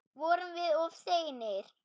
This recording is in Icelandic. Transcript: Vorum við of seinir?